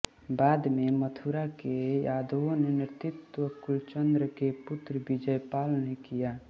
बाद में मथुरा के यादवों का नेत्रत्व कुलचन्द्र के पुत्र विजयपाल ने किया